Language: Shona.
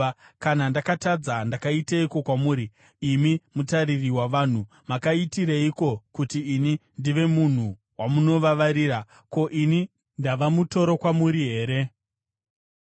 Kana ndakatadza, ndakaiteiko kwamuri, imi mutariri wavanhu? Makaitireiko kuti ini ndive munhu wamunovavarira? Ko, ini ndava mutoro kwamuri here?